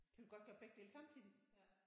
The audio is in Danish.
Kan du godt gøre begge dele samtidigt?